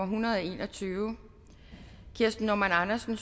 hundrede og en og tyve kirsten normann andersen